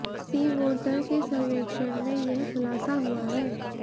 सी Voter के सर्वेक्षण में यह खुलासा हुआ है